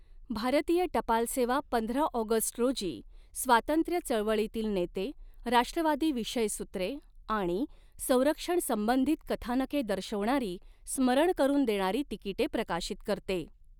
भारतीय टपाल सेवा पंधरा ऑगस्ट रोजी स्वातंत्र्य चळवळीतील नेते, राष्ट्रवादी विषयसूत्रे आणि संरक्षण संबंधित कथानके दर्शवणारी, स्मरण करून देणारी तिकिटे प्रकाशित करते.